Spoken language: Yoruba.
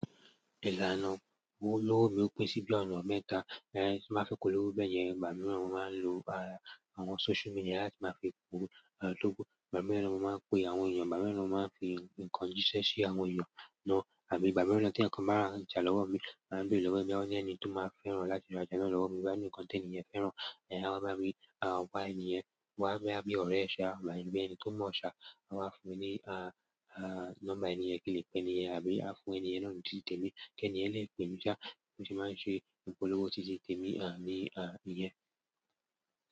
Ìlànà owo lowo mi o pín sí bí ọ̀nà mẹ́ta. Eh, tí máa fi kó lówó bẹ́ẹ̀ yẹn, ìgbà mìíràn mo máa ń lo àwọn social media láti máa fi pọ̀ olówó. Ìgbà mìíràn mo máa ń pe àwọn èèyàn, ìgbà mìíràn mo máa ń fi nǹkan jísẹ́ sí àwọn èèyàn náà àbí ìgbà mìíràn tí ẹnìkan bá ra ńjà lọ́wọ́ mi, àbí ó lọ́wọ́ mi, ó ní ẹni tó máa fẹ́ràn láti ra ńjà náà lọ́wọ́ mi níkan teni yẹn fẹ́ràn. Eh, á máa bí, àwọn bá èniyen, wọ́n á bí ọ̀rẹ́ ẹ ṣá, àbí bí ẹni tó mo ṣá, a máa fún un ní, ah, ah, nọ́mbà èniyen kí ó le pe èèyàn, àbí a fún èniyen náà ní títí tèmi kí èniyen lè pè mí ṣá. Ó ti máa ń ṣe ìpolówó títí tèmi, ah, ní, ah, ìyẹn.